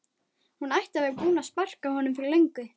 Hún ætti að vera búin að sparka honum fyrir löngu